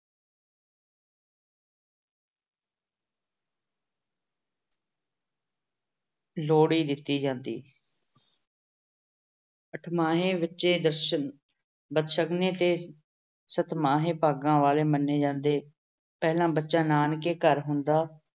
ਲੋਹੜੀ ਦਿੱਤੀ ਜਾਂਦੀ। ਅਠਮਾਹੇ ਬੱਚੇ ਦਰਸ਼ਨ ਅਹ ਬਦਸ਼ਗਨੀ ਅਤੇ ਸਤਮਾਹੇ ਭਾਗਾਂ ਵਾਲੇ ਮੰਨੇ ਜਾਂਦੇ। ਪਹਿਲਾ ਬੱਚਾ ਨਾਨਕੇ ਘਰ ਹੁੰਦਾ।